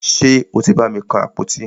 Ṣe o tí bàmi kan àpótí?